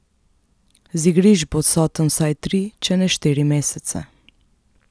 Z igrišč bo odsoten vsaj tri, če ne štiri mesece.